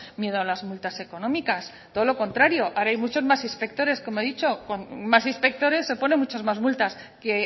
miedo a las multas económicas todo lo contrario ahora hay muchos más inspectores como he dicho con más inspectores se ponen muchas más multas que